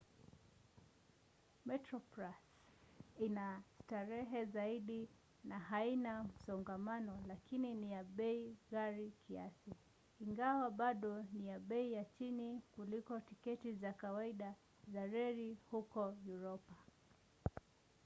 metroplus ina starehe zaidi na haina msongamano lakini ni ya bei ghali kiasi ingawa bado ni ya bei ya chini kuliko tiketi za kawaida za reli huko uropa